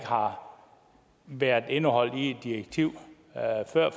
har været indeholdt i et direktiv